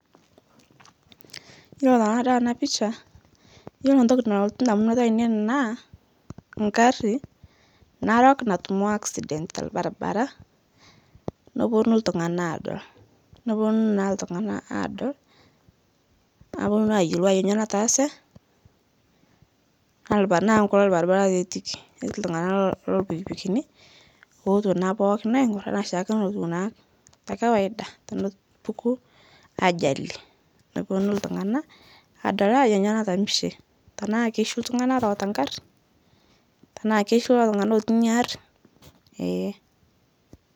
Iyolo tanadol ena picha, iyolo intoki nalotu indamunot aainei naa ingari narok natumo accident tolbaribari neponu iltung'anak aadol. Neponu iltunganak aadol aponu aayoluo ajo kanyio nataase, naa enkalo ilbaribari taa etiiki, ketii iltung'anak loolpikipikini ootuo naa pookin aing'orr enaa oshiake enutiu naa tekawaida tenepuku ajali neponu iltung'anak aadol ajo ainyoo natamishe, tenaa keishu iltung'ani orewita ing'ari, tenaa keishu lelo tung'ana otii inya aari eee.